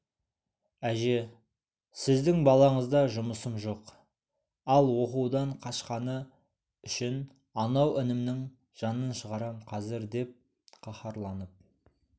әже сіздің балаңызда жұмысым жоқ ал оқудан қашқаны үшін анау інімнің жанын шығарам қазір деп қаһарланып